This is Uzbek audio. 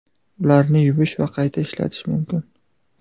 Ularni yuvish va qayta ishlatish mumkin.